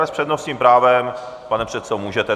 Ale s přednostním právem, pane předsedo, můžete.